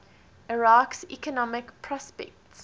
iraq's economic prospects